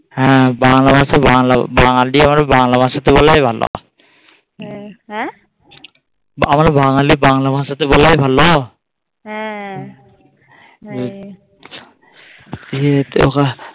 হ্যাঁ বাংলা ভাষা বাংলা বাঙালি আর বাংলা ভাষাতে বলাই ভালো আমরা বাঙালি বাংলা ভাষাতে বলাই ভালো